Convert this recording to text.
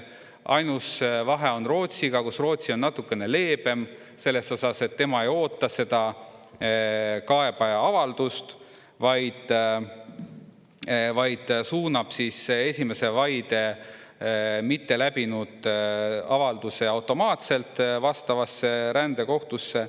Ainus vahe on Rootsiga, Rootsi on natukene leebem selles osas, et tema ei oota seda kaebaja avaldust, vaid suunab esimese vaide mitteläbinud avalduse automaatselt vastavasse rändekohtusse.